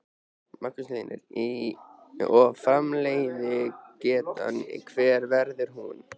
Magnús Hlynur: Og framleiðslugetan hver verður hún?